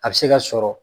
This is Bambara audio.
A bɛ se ka sɔrɔ